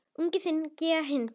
Unginn þinn, Gígja Hlín.